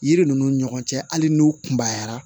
Yiri ninnu ni ɲɔgɔn cɛ hali n'u kunbayara